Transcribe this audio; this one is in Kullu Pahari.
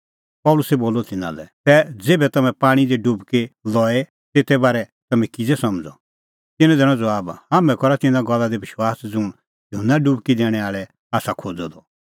पल़सी बोलअ तिन्नां लै तै ज़ेभै तम्हैं पाणीं दी डुबकी लई तेते बारै तम्हैं किज़ै समझ़ा तिन्नैं दैनअ ज़बाब हाम्हैं करा तिन्नां गल्ला दी विश्वास ज़ुंण युहन्ना डुबकी दैणैं आल़ै आसा खोज़अ द